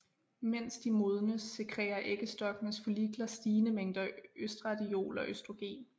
Mens de modnes sekrerer æggestokkenes follikler stigende mængder østradiol og østrogen